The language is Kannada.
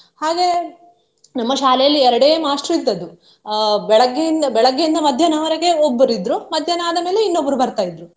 ಹಾಗೆ ನಮ್ಮ ಶಾಲೆಯಲ್ಲಿ ಎರಡೇ ಮಾಷ್ಟ್ರು ಇದ್ದದ್ದು ಅಹ್ ಬೆಳಿಗ್ಗೆಯಿಂದ ಬೆಳಿಗ್ಗೆಯಿಂದ ಮಧ್ಯಾಹ್ದವರೆಗೆ ಒಬ್ರು ಇದ್ರು, ಮಧ್ಯಾಹ್ನ ಆದ ಮೇಲೆ ಇನ್ನೊಬ್ರು ಬರ್ತಾ ಇದ್ರು.